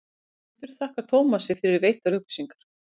höfundur þakkar tómasi fyrir veittar upplýsingar